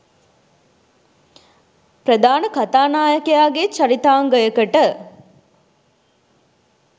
ප්‍රධාන කතානායකයාගේ චරිතාංගයකට